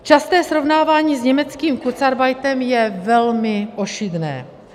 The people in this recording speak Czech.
Časté srovnávání s německým kurzarbeitem je velmi ošidné.